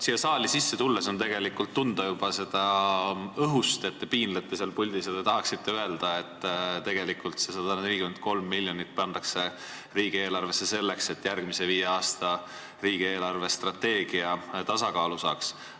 Siia saali sisse tulles on tegelikult juba õhust tunda, et te seal puldis piinlete ja tahaksite öelda, et tegelikult see 143 miljonit pannakse riigieelarvesse selleks, et järgmise viie aasta riigi eelarvestrateegia tasakaalu saaks.